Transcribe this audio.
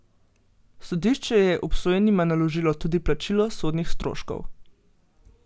Sodišče je obsojenima naložilo tudi plačilo sodnih stroškov.